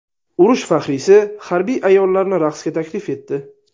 Urush faxriysi harbiy ayollarni raqsga taklif etdi.